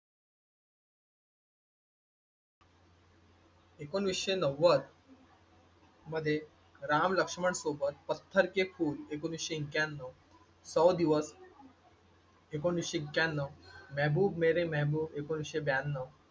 एकोणीसशे नव्वद मधे राम-लक्ष्मण सोबत पथ्थर के फूल एकोणीसशे एक्याण्णव सौ दिवस एकोणीसशे एक्याण्णव मेहबूब मेरे मेहबूब एकोणीसशे ब्याण्णव,